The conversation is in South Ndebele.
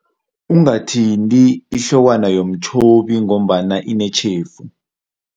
Ungathinti ihlokwana yomtjhobi ngombana inetjhefu.